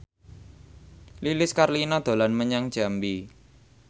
Lilis Karlina dolan menyang Jambi